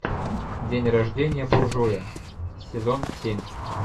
день рождение буржуя сезон семь